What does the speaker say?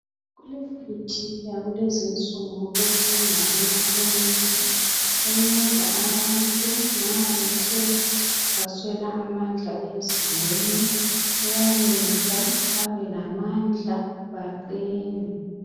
Kulemithi yakulezinsuku ethengwa emakhemisi enceda abantu nxa bethe baswela amandla emzimbeni. Iyayenza babe lamandla, baqine.